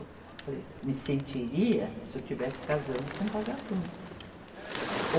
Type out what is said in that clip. Eu falei, me sentiria se eu estivesse casando com um vagabundo. ou